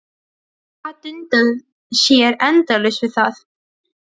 Gat dundað sér endalaust við það.